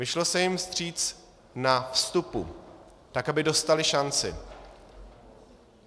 Vyšlo se jim vstříc na vstupu, tak aby dostali šanci.